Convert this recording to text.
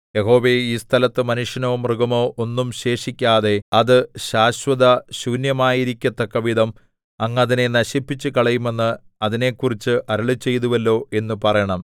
യഹോവേ ഈ സ്ഥലത്ത് മനുഷ്യനോ മൃഗമോ ഒന്നും ശേഷിക്കാതെ അത് ശാശ്വതശൂന്യമായിരിക്കത്തക്കവിധം അങ്ങ് അതിനെ നശിപ്പിച്ചുകളയുമെന്ന് അതിനെക്കുറിച്ച് അരുളിച്ചെയ്തുവല്ലോ എന്ന് പറയണം